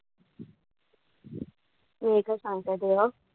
मी एकच सांगते देवा,